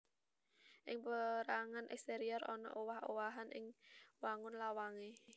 Ing pérangan èksterior ana owah owahan ing wangun lawangé